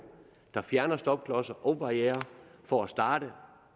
der fjerner stopklodser og barrierer for at starte